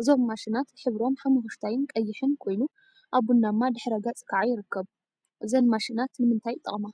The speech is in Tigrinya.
እዞም ማሽናት ሕብሮም ሓመኩሽታይን ቀይሕን ኮይኑ፤ አብ ቡናማ ድሕረ ገፅ ከዓ ይርከቡ፡፡ እዘን ማሽናት ንምንታይ ይጠቅማ?